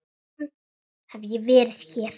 Síðan hef ég verið hér.